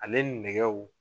Ale nɛgɛw